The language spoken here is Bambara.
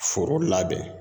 Foro labɛn